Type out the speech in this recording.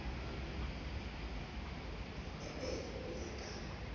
e be o ya ka